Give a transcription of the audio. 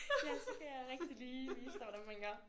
Ja så kan jeg rigtig lige vise dig hvordan man gør